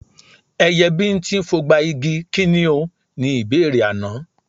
Ẹyẹ bíńtín fogba igi, kí ni o? Ni ìbéèrè àná.